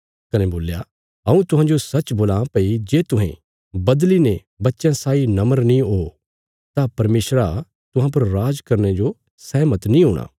कने बोल्या हऊँ तुहांजो सच्च बोलां भई जे तुहें बदली ने बच्चयां साई नम्र नीं ओ तां परमेशरा तुहां पर राज करने जो सैहमत नीं हूणा